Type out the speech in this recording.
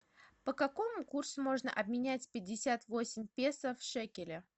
по какому курсу можно обменять пятьдесят восемь песо в шекели